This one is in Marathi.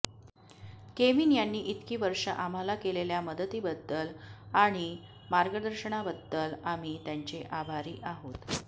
केविन यांनी इतकी वर्ष आम्हाला केलेल्या मदतीबद्दल आणि मार्गदर्शनाबद्दल आम्ही त्यांचे आभारी आहोत